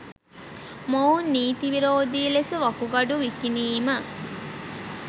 මොවුන් නීති විරෝධී ලෙස වකුගඩු විකිණීම